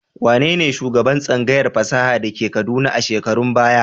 Wane ne shugaban tsangayar fasaha da ke Kaduna a shekarun baya?